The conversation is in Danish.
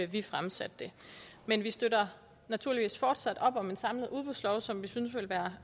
vi fremsatte det men vi støtter naturligvis fortsat op om en samlet udbudslov som vi synes vil være